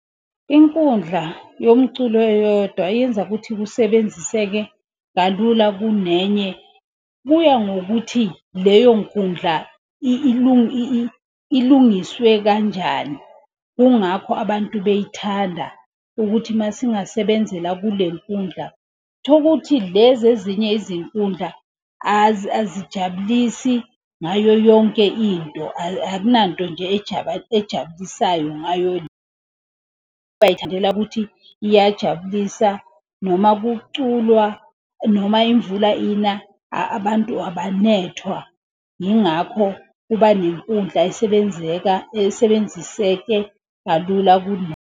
Inkundla yomculo eyodwa eyenza ukuthi kusebenziseke kalula kunenye. Kuya ngokuthi leyo nkundla ilungiswe kanjani. Kungakho abantu beyithanda ukuthi masingasebenzela kule nkundla thukuthi. Lezi ezinye izinkundla azijabulisi ngayo yonke into akunanto nje ejabulisayo ngayo. Bayithandela kuthi iyajabulisa noma kuculwa noma imvula ina abantu abanethwa. Ingakho kuba nenkundla esebenziseke kalula .